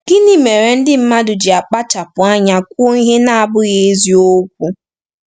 Gịnị mere ndị mmadụ ji akpachapụ anya kwuo ihe na-abụghị eziokwu?